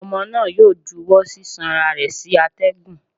Ọmọ náà yóò júwọ sisanra rẹ sí atẹgún